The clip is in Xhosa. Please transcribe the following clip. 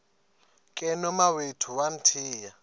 ke nomawethu wamthiya